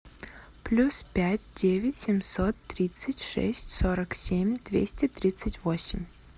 плюс пять девять семьсот тридцать шесть сорок семь двести тридцать восемь